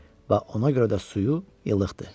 Və ona görə də suyu ilıq idi.